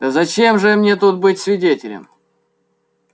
да зачем же мне тут быть свидетелем